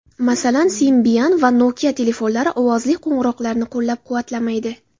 Masalan, Symbian va Nokia telefonlari ovozli qo‘ng‘iroqlarni qo‘llab-quvvatlamaydi.